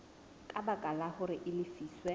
ka baka hore a lefiswe